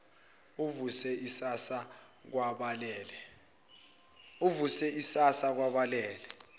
ivuse isasasa kwabalalele